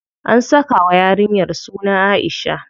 An saka wa yarinyar suna Aisha.